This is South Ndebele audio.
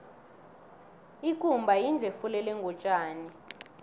ikumba yindlu efulelwe ngotjani